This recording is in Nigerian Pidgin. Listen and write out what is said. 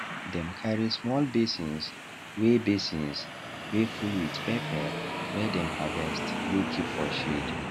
dem carry small basins wey basins wey full with pepper wey dem harvest go keep for shed